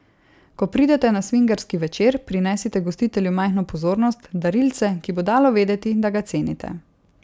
Ko pridete na svingerski večer, prinesite gostitelju majhno pozornost, darilce, ki bo dalo vedeti, da ga cenite.